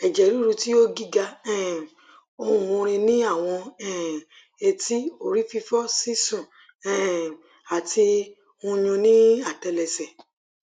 eje riru ti o giga um ohun orin ni awọn um etí orififo sisun um ati nyún ni atẹlẹsẹ